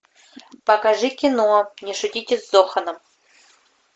покажи кино не шутите с зоханом